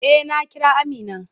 Eh, na Kira Amina.